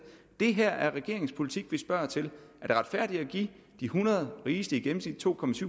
det her er regeringens politik vi spørger til er det retfærdigt at give de hundrede rigeste i gennemsnit to